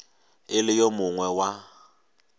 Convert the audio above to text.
e le yo mongwe wa